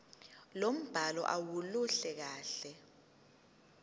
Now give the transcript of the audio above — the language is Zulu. lombhalo aluluhle kahle